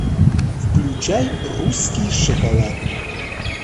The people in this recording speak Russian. включай русский шоколад